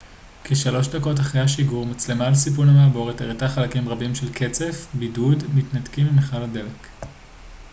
כ-3 דקות אחרי השיגור מצלמה על סיפון המעבורת הראתה חלקים רבים של קצף בידוד מתנתקים ממכל הדלק